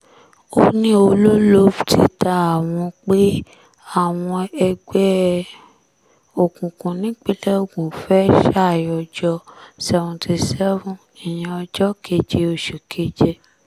ó ní olólob ti ta àwọn pé àwọn ẹgbẹ́ òkùnkùn nípìnlẹ̀ ogun fẹ́ẹ́ ṣàyọjọ́ seventy seven ìyẹn ọjọ́ keje oṣù keje